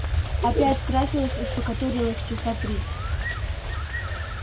опять красилась и штукатурилась часа три